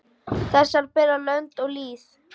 Þessar bera lönd og lýð.